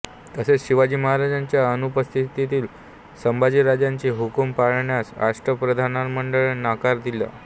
तसेच शिवाजी महाराजांच्या अनुपस्थितीत संभाजीराजांचे हुकूम पाळण्यास अष्टप्रधानमंडळाने नकार दिला